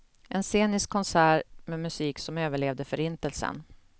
En scenisk konsert med musik som överlevde förintelsen.